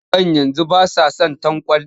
Yaran yanzu ba sa son tanƙwal